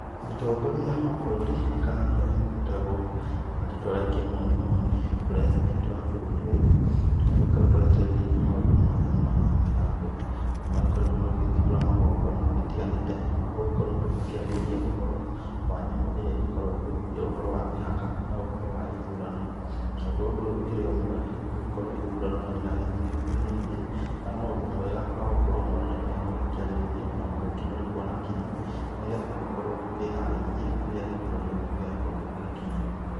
Mũtũngoria wa bũrũri, kana nĩwe ũgĩtagwo na rĩtwa rĩa kĩmonimoni president wa bũrũri ũyũ, nĩ agĩkoretwo akĩarĩrĩria maũndũ mwanya mwanya, naguo nĩ magĩkoretgwo magĩgĩthindũra magongona magĩtiganĩte, magũgĩkorwo tũkĩarĩrĩria ũhoro wa nyamũ ĩrĩa ĩgĩkoragwo ĩgĩthũthũria ũhoro wa mĩhaka, na ũhoro wa ithurano, naguo ũndũ ũyũ ũkĩrĩ o mwega, nĩ gũgĩkorwo ithurano no iragĩthiĩ igĩkuhĩrĩirie, na no ũndũ mwega, wa gũkorwo maũndũ tamaya magĩkĩarĩrĩrio, na magĩkĩmũrĩkwo nakinyi, nĩ getha tũgĩkorwo tũkĩharĩirie, rĩrĩa gĩthurano gĩkĩ gĩgagĩgĩkorwo gĩgĩgĩkinya.